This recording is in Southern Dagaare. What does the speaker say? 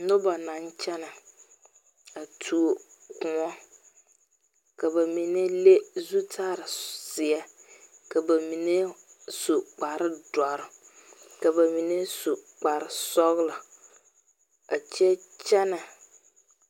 Noba na kyene a tuo koɔ. Ka ba mene le zutar zie, ka ba mene su kpar douro, ka ba mene su kpar sɔglɔ a kyɛ kyene